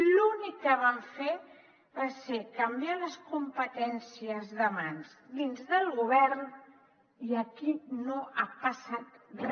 l’únic que van fer va ser canviar les competències de mans dins del govern i aquí no ha passat re